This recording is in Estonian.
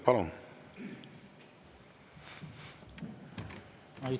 Palun!